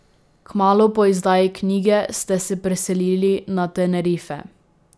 Kmalu po izdaji knjige ste se preselili na Tenerife.